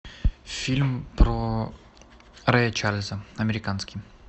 фильм про рэя чарльза американский